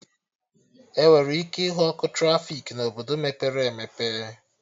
Enwere ike ịhụ ọkụ trafiki na Obodo mepere emepe